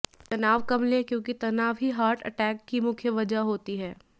तनाव कम लें क्योकि तनाव ही हार्ट अटैक की मुख्य वजह होती है